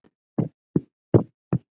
Missir okkar er mikill.